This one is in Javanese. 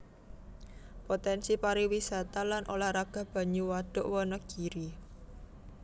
Potènsi pariwisata lan ulah raga banyu Wadhuk Wanagiri